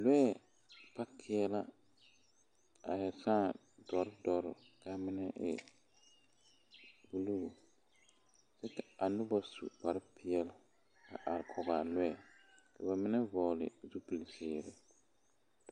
Lɔɛ paakeɛ a sãã dɔre dɔre ka a mine e buluu kyɛ ka a noba su kparepeɛle a are kɔge a lɔɛ ka ba mine vɔgle zupili zeere.